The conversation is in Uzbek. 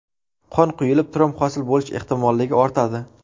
Qon quyulib, tromb hosil bo‘lish ehtimolligi ortadi.